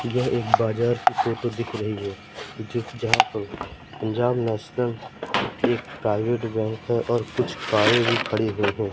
यह एक बाजार की फोटो दिख रही हैं। पंजाब नेशनल प्राइवेट बैंक है और कुछ कारे भी यहां खड़ी हुई हैं।